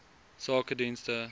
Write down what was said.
sakedienste